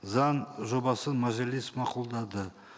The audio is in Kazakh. заң жобасын мәжіліс мақұлдады